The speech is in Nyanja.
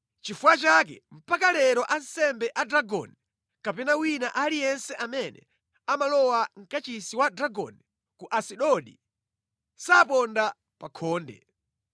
Nʼchifukwa chake mpaka lero ansembe a Dagoni kapena wina aliyense amene amalowa mʼkachisi wa Dagoni ku Asidodi saponda pa khonde.